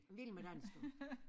Vild Med Dans du